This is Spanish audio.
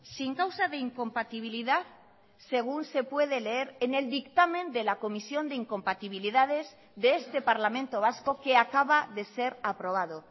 sin causa de incompatibilidad según se puede leer en el dictamen de la comisión de incompatibilidades de este parlamento vasco que acaba de ser aprobado